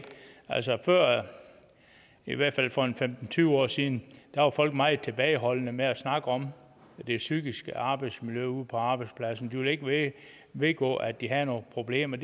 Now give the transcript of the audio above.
altså før i hvert fald for en femten til tyve år siden var folk meget tilbageholdende med at snakke om det psykiske arbejdsmiljø ude på arbejdspladserne de ville ikke vedgå at de havde nogle problemer